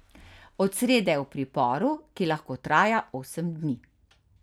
Od srede je v priporu, ki lahko traja osem dni.